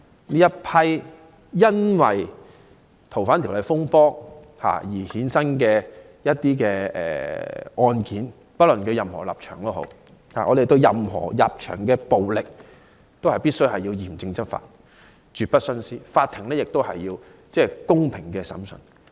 這一批因修例風波而衍生的案件，不論被捕者持任何立場，我們對任何人士的暴力行為，均須嚴正執法、絕不徇私，法庭必須進行公平的審訊。